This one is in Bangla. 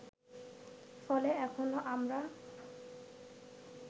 ফলে এখনও আমরা